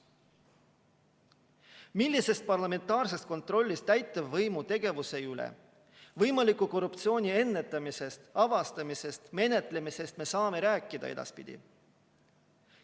Millisest parlamentaarsest kontrollist täitevvõimu tegevuse üle, võimaliku korruptsiooni ennetamisest, avastamisest ja menetlemisest me saame edaspidi rääkida?